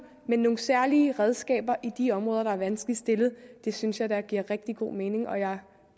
men nogle særlige redskaber i de områder der er vanskeligt stillede det synes jeg da giver rigtig god mening og jeg